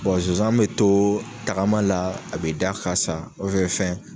Bon zonzan mi to tagama la, a bi da ka sa, fɛn